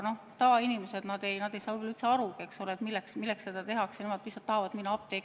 Tavainimesed ei saa võib-olla üldse aru, milleks seda tehakse, nemad lihtsalt tahavad minna apteeki.